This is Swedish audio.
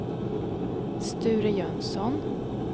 Sture Jönsson